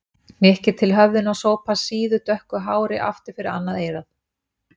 Hnykkir til höfðinu og sópar síðu, dökku hári aftur fyrir annað eyrað.